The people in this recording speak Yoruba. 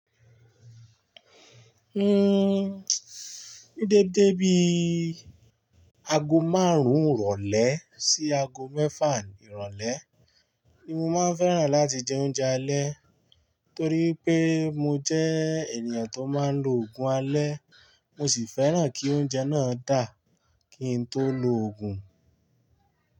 Ní dédé bí i ago márùn-ún ìrọ̀lẹ́ sí ago mẹ́fà ìrọ̀lẹ́ ni mo máa ń fẹ́ràn láti jẹ oúnjẹ alẹ́ torí pé mo jẹ́ ènìyàn tó máa ń lo òògùn alẹ́, mo sì fẹ́ràn kí oúnjẹ náà dà kí n tó lo òògùn.